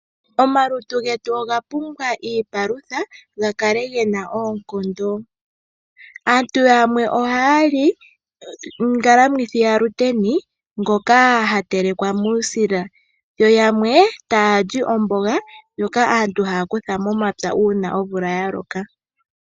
Omalutu getu ogapumbwa iipalutha, gakale gena oonkondo .aantu yamwe ohaali ngalamwithi ya shiteni ngika hatelekwa muusila. yoyamwe taali omboga ndjoka hayi kuthwa momapya uuna oomvula yaloka.